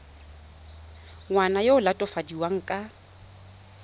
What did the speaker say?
ngwana yo o latofadiwang ka